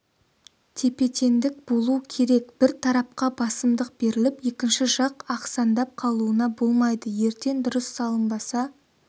тепе-теңдік болу керек бір тарапқа басымдық беріліп екінші жақ ақсаңдап қалуына болмайды ертең дұрыс салынбаса